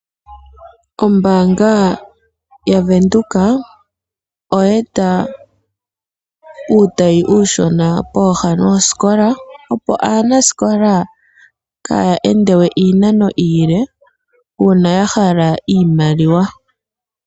Ombaanga ya Venduka oye eta uutayi uushona pooha noosikola . Opo aanasikola kaya endewe iinano iile uuna ya hala iimaliwa.